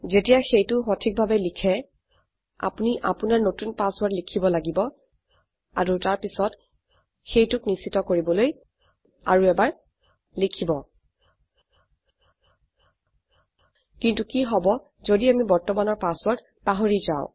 যেতিয়া সেইটো সঠিকভাবে লিখে আপোনি আপোনাৰ নতুন পাছৱৰ্ৰদ লিখিব লাগিব আৰু তাৰপিছত সেইটোক নিশ্চিত কৰিবলৈ আৰু এবাৰ লিখিব কিন্তু কি হব যদি আমি বৰ্তমানৰ পাছৱৰ্ৰদ পাহৰি যাও